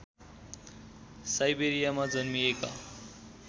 साइबेरियामा जन्मिएका